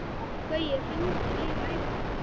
Gaui, hringdu í Laufhildi.